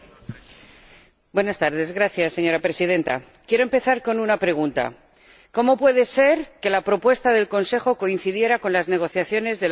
Señora Presidenta, quiero empezar con una pregunta ¿cómo puede ser que la propuesta del Consejo coincidiera con las negociaciones del Acuerdo de Libre Comercio con Canadá?